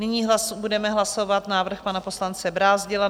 Nyní budeme hlasovat návrh pana poslance Brázdila.